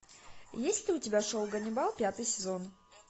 есть ли у тебя шоу ганнибал пятый сезон